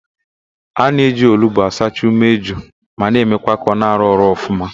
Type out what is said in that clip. A na-eji olugbo asacha umeju ma na emekwa ka ọ na-arụ ọrụ ọfụma